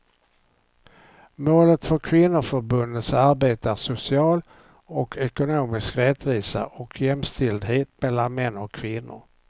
Målet för kvinnoförbundens arbete är social och ekonomisk rättvisa och jämställdhet mellan män och kvinnor.